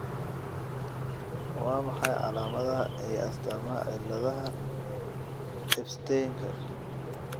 Waa maxay calaamadaha iyo astaamaha cilaadaaha Ebsteinka?